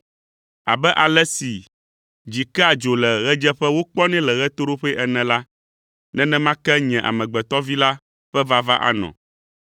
Abe ale si dzi kea dzo le ɣedzeƒe wokpɔnɛ le ɣetoɖoƒe ene la, nenema ke Nye Amegbetɔ Vi la ƒe vava anɔ.